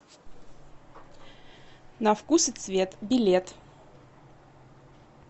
на вкус и цвет билет